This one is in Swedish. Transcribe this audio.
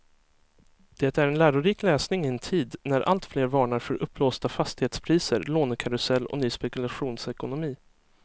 Det är en lärorik läsning i en tid när alltfler varnar för uppblåsta fastighetspriser, lånekarusell och ny spekulationsekonomi.